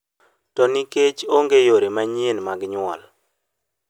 To nikech ne onge yore manyien mag nyuol.